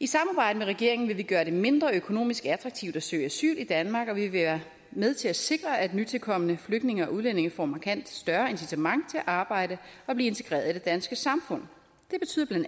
i samarbejde med regeringen vil vi gøre det mindre økonomisk attraktivt at søge asyl i danmark og vi vil være med til at sikre at nytilkomne flygtninge og udlændinge får markant større at arbejde og blive integreret i det danske samfund det betyder bla